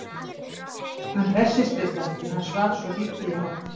Hann hressist við það því að hann svaf svo lítið í nótt.